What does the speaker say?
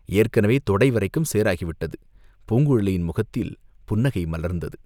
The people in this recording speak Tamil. ஏற்கெனவே தொடை வரைக்கும் சேறாகிவிட்டது!" பூங்குழலியின் முகத்தில் புன்னகை மலர்ந்தது.